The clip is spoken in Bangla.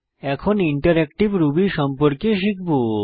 এখন ইন্টারএক্টিভ রুবি সম্পর্কে শিখব